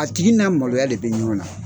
A tigi n'a maloya de bi ɲɔgɔn na.